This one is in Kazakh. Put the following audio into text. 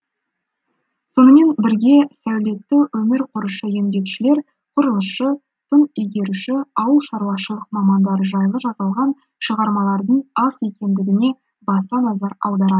сонымен бірге сәулетті өмір құрушы еңбекшілер құрылысшы тың игеруші ауыл шаруашылық мамандары жайлы жазылған шығармалардың аз екендігіне баса назар аударады